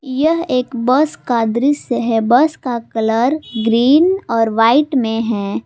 यह एक बस का दृश्य है बस का कलर ग्रीन और व्हाइट में है।